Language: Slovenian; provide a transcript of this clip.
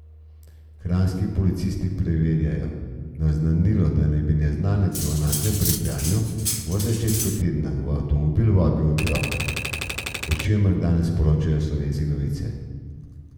Kranjski policisti preverjajo naznanilo, da naj bi neznanec v Naklem pri Kranju v začetku tedna v avtomobil vabil otroka, o čemer danes poročajo Slovenske novice.